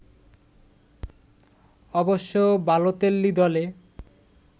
অবশ্য বালোতেল্লি দলে